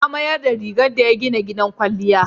Ya mayar da gidan da ya gina gidan kwalliya.